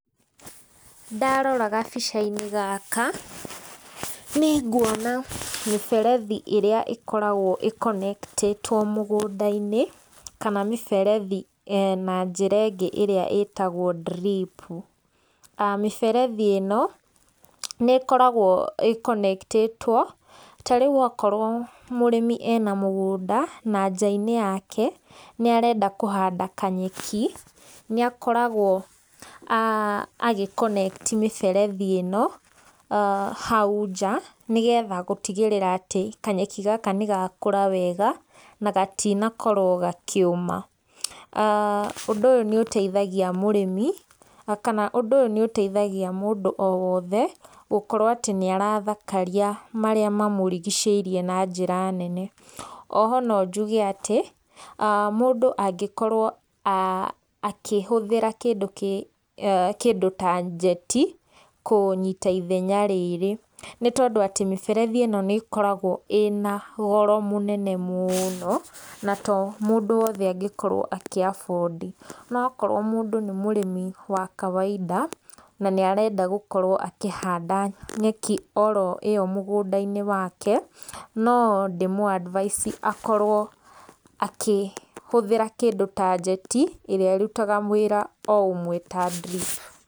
Ndarora gabica-inĩ gaka nĩ nguona mĩberethi ĩrĩa ĩkoragwo ĩĩ connected kana mĩberethi na njĩra ĩngĩ ĩrĩa ĩtagwo drip. Mĩberethi ĩno nĩ ĩkoragwo ĩĩ connected ta rĩu okorwo mũrĩmi ena mũgũnda na njaa-inĩ yake nĩ arenda kũhanda kanyeki, nĩ akoragwo agĩ connect mĩberethi ĩno hau nja nĩgetha gũtigĩrĩra atĩ kanyeki gaka nĩ gakũra wega na gatinakorwo gakĩũma. Aa undũ ũyũ nĩ ũteithagia mũrĩmi kana ũndũ ũyũ nĩ ũteithagia mũndũ o wothe gũkorwo atĩ nĩ arathakaria marĩa mamũrigicĩirie na njĩra nene. Oho no njuge atĩ mũndũ angĩkorwo a akĩhũthĩra kĩndũ kĩ kĩndũ ta jet kũnyita ithenya rĩrĩ. Nĩ tondũ atĩ mĩberethi ĩno nĩ ĩkoragwo ĩna goro mũnene mũno na to mũndũ wothe angĩkorwo akĩ afford. No okorwo mũndũ nĩ mũrĩmi wa kawaida na nĩ arenda gũkorwo akĩhanda nyeki oro ĩo mũgũnda-inĩ wake, no ndĩ mũ advice akorwo akĩhũthĩra kĩndũ ta jet ĩrĩa ĩrutaga wĩra o ũmwe ta drip.